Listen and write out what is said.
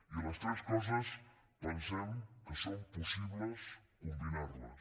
i les tres coses pensem que és possible combinar les